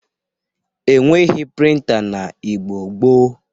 Enweghi prịnta n'Igbo gboo.